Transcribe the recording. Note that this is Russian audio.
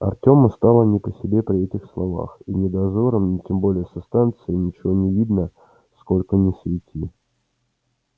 артёму стало не по себе при этих словах и ни дозорам ни тем более со станции ничего не видно сколько ни свети